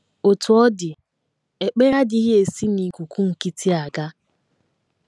Otú ọ dị, ekpere adịghị esi n’ikuku nkịtị aga.